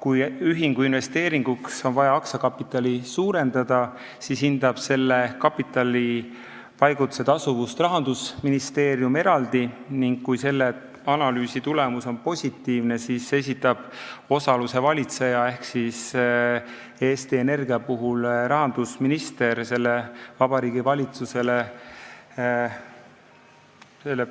Kui investeeringuks on vaja aktsiakapitali suurendada, siis selle kapitalipaigutuse tasuvust hindab Rahandusministeerium eraldi, ning kui analüüsi tulemus on positiivne, siis esitab osaluse valitseja, Eesti Energia puhul rahandusminister, Vabariigi Valitsusele